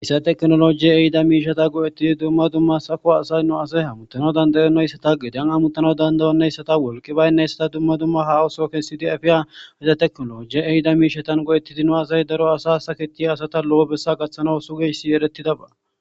issa teknoloji eida miishata go7ettidi dumma dumma safo asay no asay hamutana dandayonnayssata gedan amutana dandayonnayssata wolki baynneyssata dumma dumma hawuso kessidi afiya iza teknoloji eyida miishatan go7ettidi no asay daro asa saketiya asata lo7o bessa gaththano sugeyssi eretidaba